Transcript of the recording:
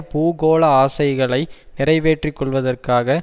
பூகோள ஆசைகளை நிறைவேற்றி கொள்வதற்காக